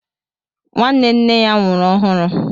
Nwanne nna ya nwụrụ ọhụru